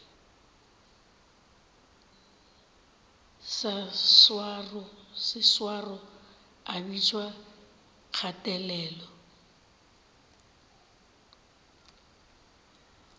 sa seswaro a bitšwa kgatelelo